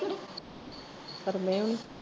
ਪਰ ਨਹੀਂ।